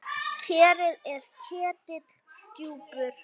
Kerið er ketill djúpur.